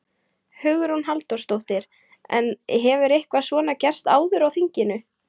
Hugrún Halldórsdóttir: En hefur eitthvað svona gerst áður á þinginu?